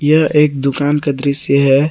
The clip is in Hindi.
यह एक दुकान का दृश्य है।